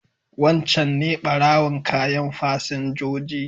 Wancan ne ɓarowan kayan fasinjoji.